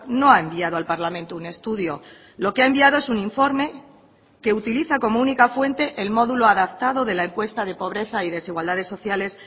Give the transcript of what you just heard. no ha enviado al parlamento un estudio lo que ha enviado es un informe que utiliza como única fuente el módulo adaptado de la encuesta de pobreza y desigualdades sociales